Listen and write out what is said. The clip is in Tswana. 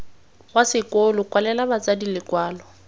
wa sekolo kwalela batsadi lekwalo